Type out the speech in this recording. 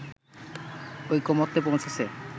ঐকমত্যে পৌঁছেছে